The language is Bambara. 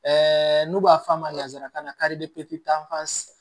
Ɛɛ n'u b'a f'a ma nanzarakan na